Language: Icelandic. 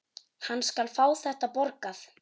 Hann skal fá þetta borgað!